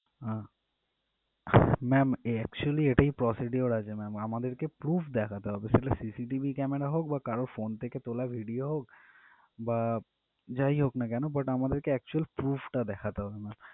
আহ ma'am actually এটাই procedure আছে ma'am আমাদেরকে proof দেখাতে হবে আসলে CCTV camera হোক বা কারোর phone থেকে তোলা video হোক বা যাইহোক না কেন কিন্তু আমাদেরকে actual proof টা দেখাতে হবে ma'am